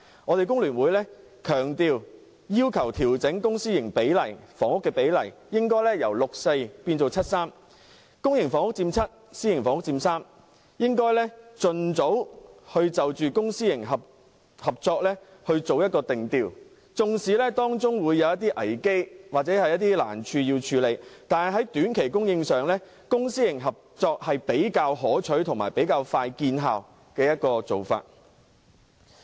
香港工會聯合會強烈要求調整公私營房屋的比例，應該由 6：4 改為 7：3， 公營房屋佔 7， 私營房屋佔 3， 並盡早就公私營合作定調，儘管當中會有危機或難處，但在短期供應上，公私營合作是比較可取和快見成效的做法。